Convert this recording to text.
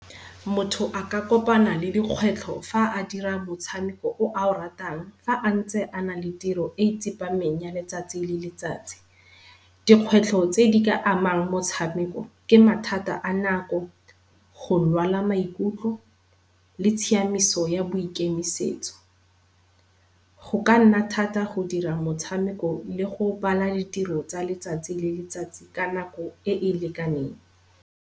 Motho a ka kopana le dikgwetlho fa a dira motshameko o a o ratang fa a ntse a na le tiro e tsepameng ya letsatsi le letsatsi. Dikgwetlho tse di ka amang motshameko ke mathata a nako, go lwala maikutlo le tshiamiso ya boikemisetso. Go ka nna thata go dira motshameko le go bala ditiro tsa letsatsi le letsatsi ka nako e e lekaneng.